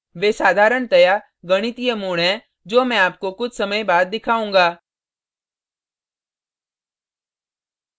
वे साधारणतया गणितीय mode हैं जो मैं आपको कुछ समय बाद दिखाउंगा